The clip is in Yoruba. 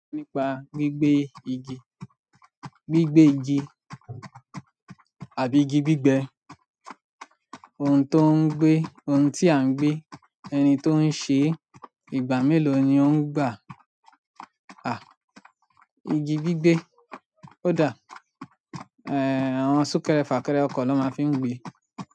Nípa gbígbẹ́ igi, gbígbẹ́ igi àbí igi gbígbẹ́ ohun tó ń gbé, ohun tí à ń gbé, ẹni tó ń ṣe é, ìgbà mélòó ni ó ń gbà á? Igi gbígbẹ́ ó dà, ẹ́, àwọn súnkẹrẹ fàkẹrẹ ọkọ̀ na máa ń fi ń gbé.